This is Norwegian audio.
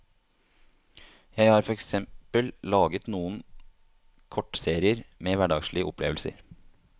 Jeg har for eksempel laget noen kortserier med hverdagslige opplevelser.